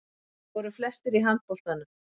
Þeir voru flestir í handboltanum.